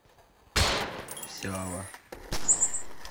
сява